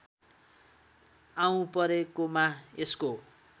आऊँ परेकोमा यसको